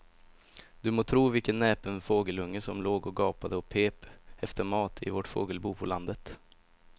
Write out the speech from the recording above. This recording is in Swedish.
Du må tro vilken näpen fågelunge som låg och gapade och pep efter mat i vårt fågelbo på landet.